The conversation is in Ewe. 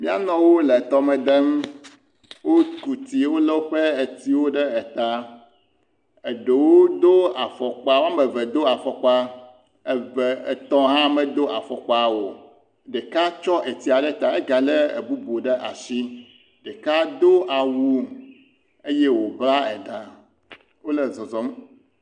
Nyɔnuwo le tɔme dem. Woku tsi wolé woƒe tsiwo ɖe eta. Eɖewo do afɔkpa. Wo ame eve do afɔkpa, eve, etɔ̃ hã medo afɔkpa o. Ɖeka tsɔ tsia ɖe ta. Ega lé bubu ɖe asi. Ɖeka do awu eye wobla eɖa. Wole zɔzɔm.